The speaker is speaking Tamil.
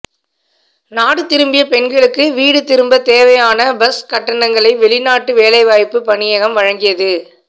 நாடு திரும்பிய பெண்களுக்கு வீடு திரும்பத் தேவையான பஸ் கட்டணங்களை வௌிநாட்டு வேலைவாய்ப்பு பணியகம் வழங்கியது